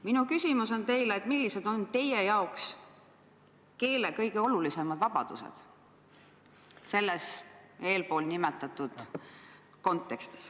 Minu küsimus teile on see, et millised on teie jaoks keele kõige olulisemad vabadused selles eelpool kirjeldatud kontekstis.